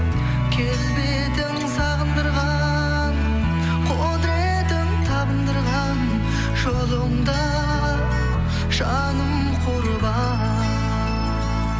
келбетің сағындырған құдыретің табындырған жолыңда жаным құрбан